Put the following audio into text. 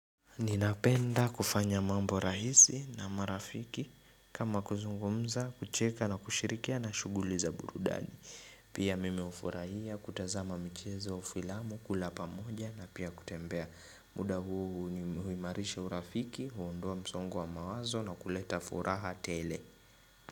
Ninapenda kufanya mambo rahisi na marafiki kama kuzungumza kucheka na kushirikiana shuguli za burudani Pia mimi hufurahia kutazama michezo au filamu kula pamoja na pia kutembea muda huu huimarisha urafiki huondoa msongo wa mawazo na kuleta furaha tele.